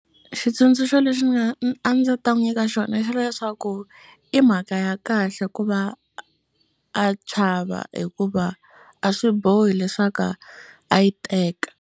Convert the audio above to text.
Xitsundzuxo lexi ndzi nga a ndzi ta n'wi nyika xona i xa leswaku i mhaka ya kahle ku va a chava hikuva a swi bohi leswaku a a yi teka.